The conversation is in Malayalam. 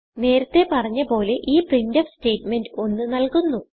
നേരത്തെ പറഞ്ഞ പോലെ ഈ പ്രിന്റ്ഫ് സ്റ്റേറ്റ്മെന്റ് 1 നല്കുന്നു